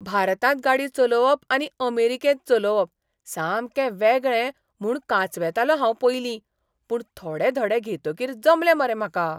भारतांत गाडी चलोवप आनी अमेरीकेंत चलोवप सामकें वेगळें म्हूण कांचवेतालों हांव पयलीं, पूण थोडे धडे घेतकीर जमलें मरे म्हाका!